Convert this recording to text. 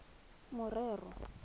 morero